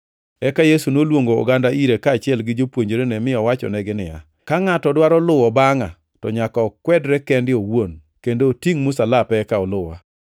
Eka Yesu noluongo oganda ire, kaachiel gi jopuonjrene mi owachonegi niya, “Ka ngʼato dwaro luwo bangʼa to nyaka okwedre kende owuon kendo otingʼ msalape eka oluwa.